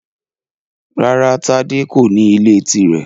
Rárá Tádé kò ní ilé tirẹ.